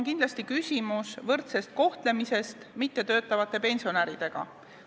Esiteks on küsimus kindlasti mittetöötavate ja töötavate pensionäride võrdses kohtlemises.